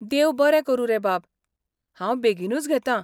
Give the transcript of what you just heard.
देव बरें करूं रे बाब, हांव बेगीनूच घेतां.